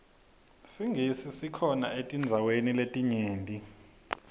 singisi sikhona etindzaweni letinyenti